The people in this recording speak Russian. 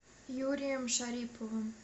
юрием шариповым